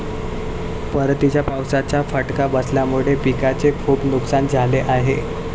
परतीच्या पावसाचा फटका बसल्यामुळे पिकांचे खूप नुकसान झाले आहे.